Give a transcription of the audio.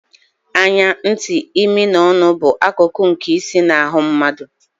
Anya, ntị, imi na ọnụ bụ akụkụ nke isi na ahụ mmadụ.